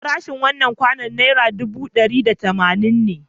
Farashin wannan kwandon naira ɗubu ɗari da tamanin ne.